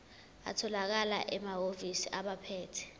atholakala emahhovisi abaphethe